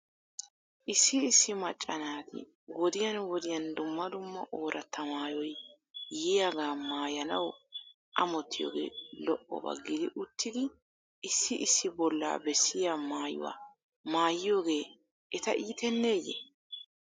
Issi issi macca naati wodiyan wodiyan dumma dumma ooratta maayoy yiyaagaa maayanaw amottiyoogee lo'oba gidi uttidi issi issi bollaa bessiyaa maayuwaa maayiyoogee eta iiteneeye?